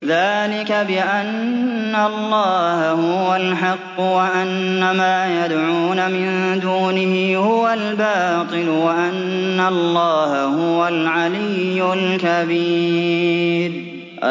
ذَٰلِكَ بِأَنَّ اللَّهَ هُوَ الْحَقُّ وَأَنَّ مَا يَدْعُونَ مِن دُونِهِ هُوَ الْبَاطِلُ وَأَنَّ اللَّهَ هُوَ الْعَلِيُّ الْكَبِيرُ